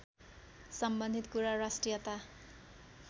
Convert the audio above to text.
सम्बन्धित कुरा राष्ट्रियता